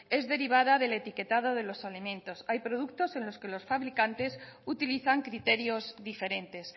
es derivada del etiquetado de los alimentos hay productos en que los fabricantes utilizan criterios diferentes